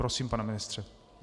Prosím, pane ministře.